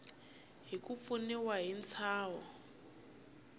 hi ku pfuniwa hi ntshaho